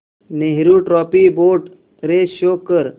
Nehru trophy boat race show कर